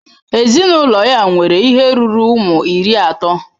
Ezinụlọ ya nwere ihe ruru ụmụ iri atọ.